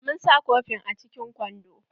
Mun sa kofin a cikin kwando.